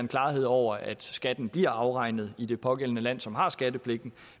klarhed over at skatten bliver afregnet i det pågældende land som har skattepligten